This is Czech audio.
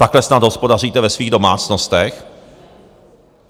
Takhle snad hospodaříte ve svých domácnostech?